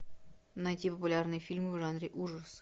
найти популярные фильмы в жанре ужасы